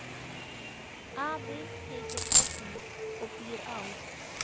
Afi heitir Þorfinnur og býr á